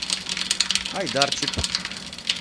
айдарчик